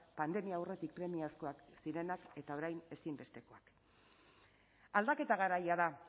pandemia aurretik premiazkoak zirenak eta orain ezinbestekoak aldaketa garaia da